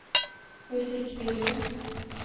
musikkvideo